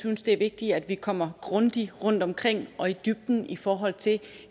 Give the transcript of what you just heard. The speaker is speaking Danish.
synes det er vigtigt at vi kommer grundigt rundtomkring og i dybden i forhold til